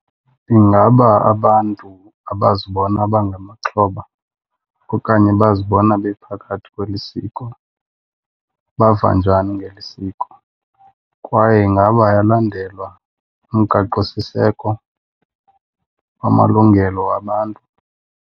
Ingaba abantu abazibona bangamaxhoba okanye bazibona bephakathi kweli siko bava njani ngeli siko? Kwaye ingaba ayalandelwa umgaqosiseko wamalungelo wabantu?